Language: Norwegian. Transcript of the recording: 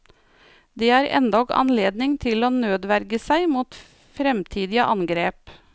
Det er endog anledning til å nødverge seg mot fremtidige angrep.